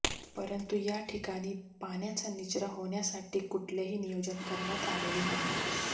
परंतु या ठिकाणी पाण्याचा निचरा होण्यासाठी कुठलेही नियोजन करण्यात आलेले नाही